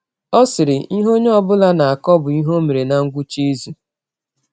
Ọ sịrị: Ihe ọnye ọ bụla na - akọ bụ ihe ọ mere ná ngwụcha izụ.